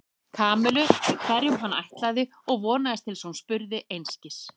Kamillu með hverjum hann ætlaði og vonaðist til þess að hún spurði einskis.